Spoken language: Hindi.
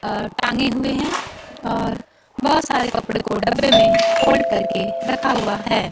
अह टांगे हुए हैं और बहुत सारे कपड़े को डब्बे में फोल्ड कर के रखा हुआ है।